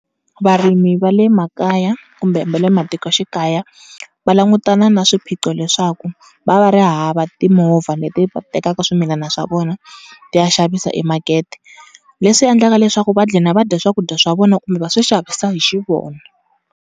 Varimi va le makaya kumbe va le matikoxikaya va langutana na swiphiqo leswaku va va ri hava timovha leti va tekaka swimilana swa vona ti ya xavisa emakete. Leswi endlaka leswaku va gcina va dya swakudya swa vona kumbe va swi xavisa hi xi vona.